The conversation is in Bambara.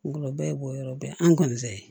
Ngɔlɔbɛ bɔyɔrɔ bɛ an kɔni fɛ yen